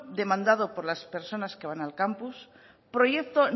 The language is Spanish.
demandado por las personas que van al campus proyecto